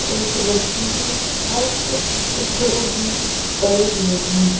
एक रस्सी है और कुछ टुकड़े भी पड़े हुए हैं।